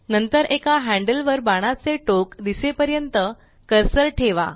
नंतर एका हैन्ड्ल वर बाणाचे टोक दिसेपर्यंत कर्सर ठेवा